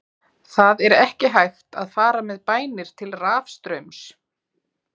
Það er ekki hægt að fara með bænir til rafstraums.